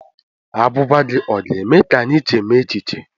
Agwụgwa gị ọ ga-eme ka anyị chemie echiche?